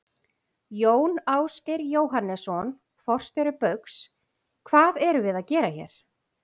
Jón Ásgeir Jóhannesson, forstjóri Baugs: Hvað erum við að gera hér?